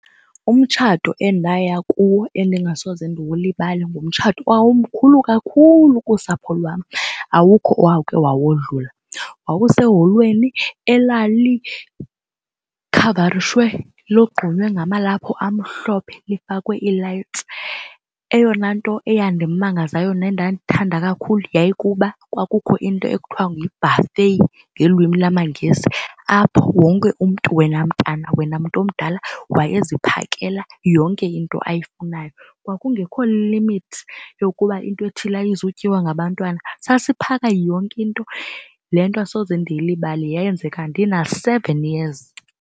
Umtshato endaya kuwo endingasoze ndiwulibale ngumtshato owawumkhulu kakhulu kusapho lwam awukho owakhe wawodlula wawuseholweni elalikhavarishwe logqunywe ngamalaphu amhlophe lifakwe ii-lights. Eyona nto eyandimangazayo nendandithanda kakhulu yayikukuba kwakukho into ekuthiwa nguye yi-buffet ngelwimi lamaNgesi apho wonke umntu wena mntana wena mntomdala wayeziphakela yonke into ayifunayo. Kwakungekho limit yokuba into ethile ayizutyiwa ngabantwana sasiphaka yonke into. Le nto asoze ndiyilibale yenzeka ndina seven years.